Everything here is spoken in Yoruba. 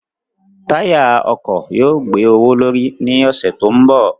Táyà ọkọ̀ yóò gbé owó l'órí ní ọ̀sẹ̀ tó ń bọ̀.